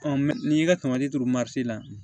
n'i y'i ka tamati turu la